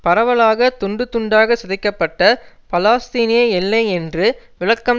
பரவலாக துண்டு துண்டாக சிதைக்கப்பட்ட பலாஸ்தீனிய எல்லை என்று விளக்கம்